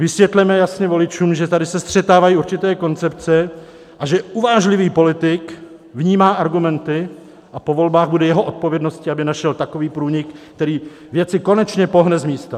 Vysvětleme jasně voličům, že tady se střetávají určité koncepce a že uvážlivý politik vnímá argumenty a po volbách bude jeho odpovědností, aby našel takový průnik, který věci konečně pohne z místa.